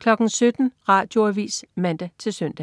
17.00 Radioavis (man-søn)